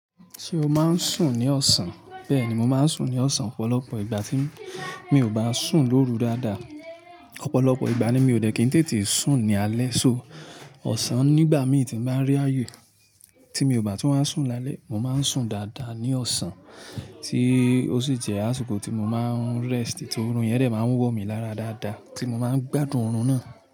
Ṣé o máa ń sùn ní ọ̀sán? Bẹ́ẹ̀ ni, mo máa ń sùn ní ọ̀sán. Ọ̀pọ̀lọpọ̀ ìgbà tí mi ò bá sùn lóru dáadáa, Ọ̀pọ̀lọpọ̀ ìgbà ni mi ò dé kí n tètè sùn ní alẹ́, so ọ̀sán nígbà mi tí n bá rí ayé tí mi ò bá tu wá sùn lálẹ́, mo máa ń sùn dáadáa ní ọ̀sán tí ó sì jẹ́ àsìkò tí mo máa ń rest, tí oorun yẹn dẹ̀ máa ń wọ mí lára dáadáa tí mo máa ń gbádùn oorun náà.